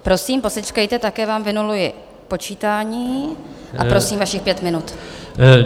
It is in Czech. Prosím, posečkejte, také vám vynuluji počítání, a prosím, vašich pět minut.